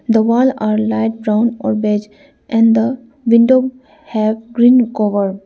the wall are light brown or beige and the window have green cover.